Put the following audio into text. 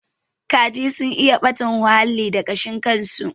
Kaji sun iya ɓata huhalli da kashin su